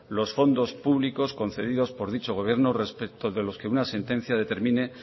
los fondos públicos concedidos por dicho gobierno respecto de los que una sentencia determine